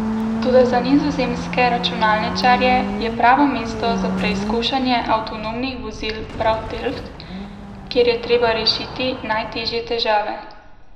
Toda za nizozemske računalničarje je pravo mesto za preizkušanje avtonomnih vozil prav Delft, kjer je treba rešiti najtežje težave.